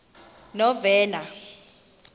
novena